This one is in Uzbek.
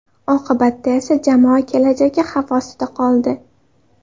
Oqibatda esa jamoa kelajagi xavf ostida qoldi.